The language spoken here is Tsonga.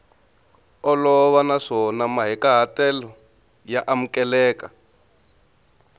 olova naswona mahikahatelo ya amukeleka